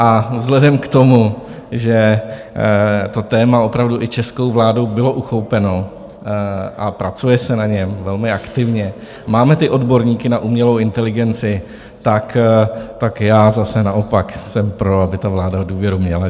A vzhledem k tomu, že to téma opravdu i českou vládou bylo uchopeno a pracuje se na něm velmi aktivně, máme ty odborníky na umělou inteligenci, tak já zase naopak jsem pro, aby ta vláda důvěru měla.